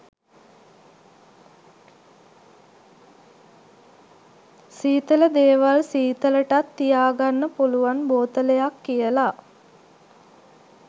සීතල දේවල් සීතලටත් තියාගන්න පුළුවන් බෝතලයක් කියලා